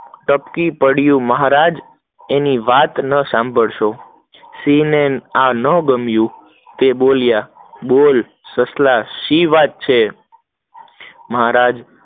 ટપકી પદ્યું મહારાજ, એની વાત ના સાંભળો, સિંહ ને આ ના ગમીયું તે બોલ્યો બોલ શું વાત છે મહારાજ